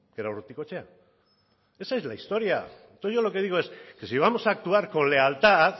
que era urrutikoetxea esa es la historia entonces yo lo que yo digo es que si vamos a actuar con lealtad